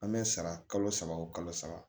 An bɛ sara kalo saba o kalo saba